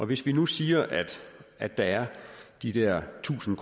hvis vi nu siger at der er de der tusind